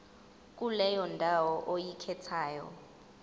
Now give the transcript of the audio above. kuleyo ndawo oyikhethayo